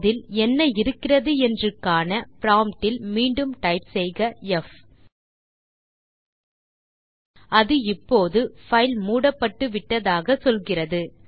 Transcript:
அதில் என்ன இருக்கிறது என்று காண ப்ராம்ப்ட் இல் மீண்டும் டைப் செய்க ப் அது இப்போது பைல் மூடப்பட்டு விட்டதாக சொல்லுகிறது